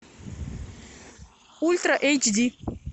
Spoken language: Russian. ультра эйч ди